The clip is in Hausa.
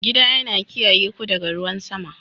Gida yana kiyaye ku daga ruwan sama.